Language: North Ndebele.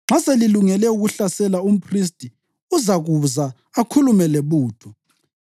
Nxa selilungele ukuhlasela, umphristi uzakuza akhulume lebutho.